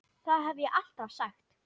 Það hef ég alltaf sagt.